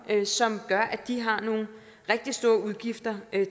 som gør at de har nogle rigtig store udgifter